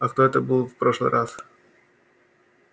а кто это был в прошлый раз